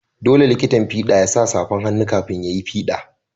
Dolle likitan fids ya sa safan hannu kafin ya yi fida.